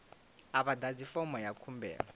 a vha ḓadzi fomo ya khumbelo